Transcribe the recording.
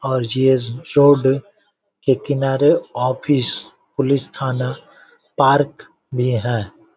और G. S के किनारे ऑफिस पुलिस थाना पार्क भी है।